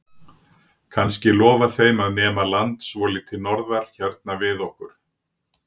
Kannski lofa þeim að nema land svolítið norðar hérna við okkur?